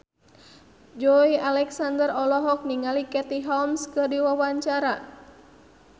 Joey Alexander olohok ningali Katie Holmes keur diwawancara